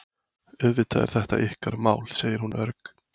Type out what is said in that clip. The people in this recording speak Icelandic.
Auðvitað er þetta ykkar mál, segir hún örg.